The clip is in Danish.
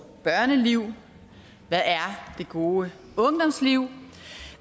børneliv hvad er det gode ungdomsliv